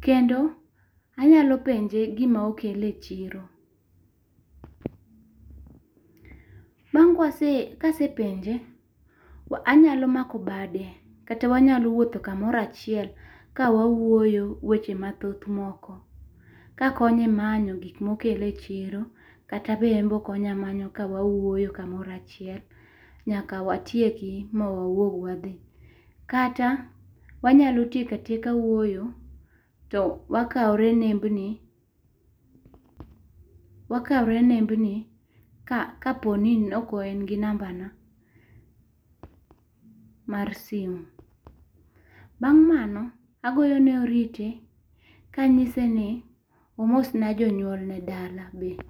kendo anyalo penje gi ma okele e chiro. Bang' ka asepenje anyalo mako bade kaka wanyalo wuotho ka amoro achiel ka wawuotho weche ma thoth moko ka akonye manyo gi ma okele e chiro kata be en be okonya manyo kawuoyo ka moro achiel nyaka watieki ma wauog wa dhi. Kata wanya tieko atieka wuoyo to wakawore nembni ka po ni ne ok en gi namba na mar simo. Bang' mano agoyo ne oriti ka ang'ise ni omos na jodala be.